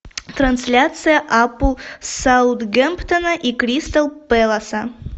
трансляция апл саутгемптона и кристал пэласа